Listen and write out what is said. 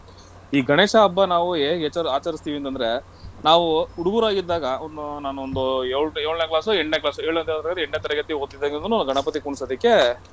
ಈ ಗಣೇಶ ಹಬ್ಬ ನಾವು ಹೇಗೆ ಏಚರ್~ ಆಚರಿಸ್ತೀವಿ ಅಂತಂದ್ರೆ ನಾವು ಹುಡುಗ್ರಾಗಿದ್ದಾಗ ಒಂದ್ ನಾನೊಂದು ಯೋ~ ಏಳ್ನೆ class ಎಂಟ್ನೆ class ಏಳ್ನೆ ತರಗತಿ ಎಂಟ್ನೆ ತರಗತಿ ಓದತ್ತಾಗಿಂದನೂ ಗಣಪತಿ ಕುಣಸದಕ್ಕೆ